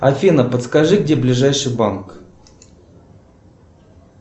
афина подскажи где ближайший банк